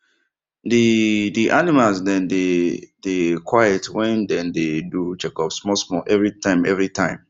the the animals dem dey dey quiet when dem dey do checkups small small every time every time